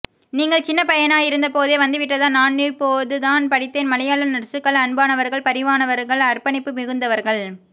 நீங்கள் சின்னப் பையனாயிருந்தபோதே வந்து விட்டதா நானிப்போதுதான் படித்தேன் மலையாள நர்சுகள் அன்பானவர்கள் பரிவானவர்கள் அர்ப்பணிப்பு மிகுந்தவர்கள்